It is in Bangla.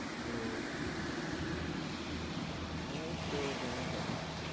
Hello হ্যাঁ এই তো যেমন তেমন